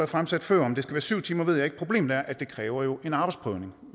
fremsat før om det skal være syv timer ved jeg ikke problemet er at det jo kræver en arbejdsprøvning